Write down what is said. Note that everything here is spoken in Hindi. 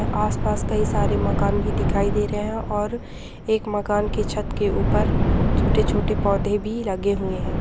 आस-पास कई सारे मकान भी दिखाई दे रहे हैं और एक मकान की छत के ऊपर छोटे-छोटे पौधे भी लगे हुए हैं।